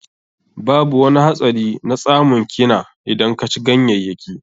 Babu wani hatsari na tsamun kina idan ka ci ganyayyaki.